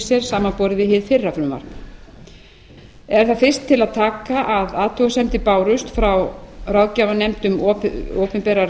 sér samanborið við hið fyrra frumvarp er þar fyrst til að taka að athugasemdir bárust frá ráðgjafarnefnd um opinberar